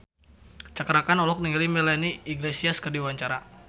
Cakra Khan olohok ningali Melanie Iglesias keur diwawancara